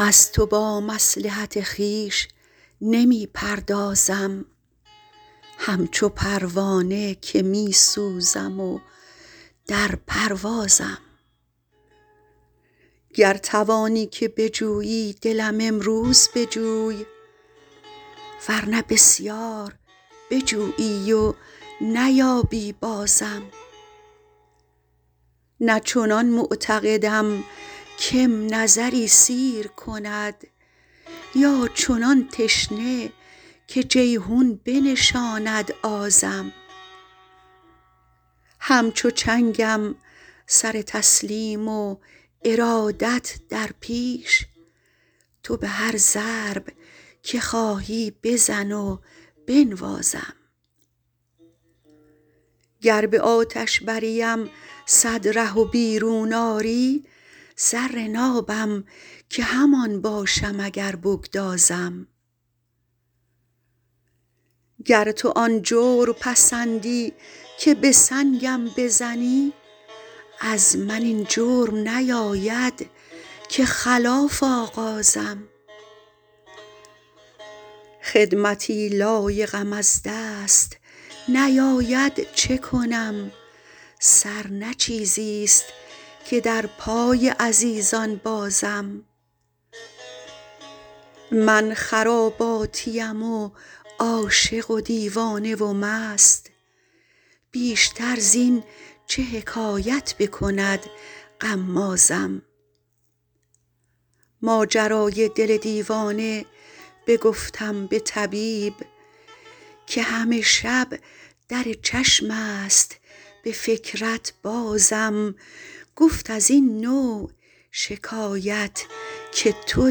از تو با مصلحت خویش نمی پردازم همچو پروانه که می سوزم و در پروازم گر توانی که بجویی دلم امروز بجوی ور نه بسیار بجویی و نیابی بازم نه چنان معتقدم که م نظری سیر کند یا چنان تشنه که جیحون بنشاند آزم همچو چنگم سر تسلیم و ارادت در پیش تو به هر ضرب که خواهی بزن و بنوازم گر به آتش بریم صد ره و بیرون آری زر نابم که همان باشم اگر بگدازم گر تو آن جور پسندی که به سنگم بزنی از من این جرم نیاید که خلاف آغازم خدمتی لایقم از دست نیاید چه کنم سر نه چیزیست که در پای عزیزان بازم من خراباتیم و عاشق و دیوانه و مست بیشتر زین چه حکایت بکند غمازم ماجرای دل دیوانه بگفتم به طبیب که همه شب در چشم است به فکرت بازم گفت از این نوع شکایت که تو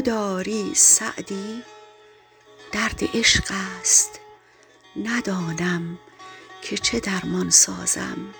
داری سعدی درد عشق است ندانم که چه درمان سازم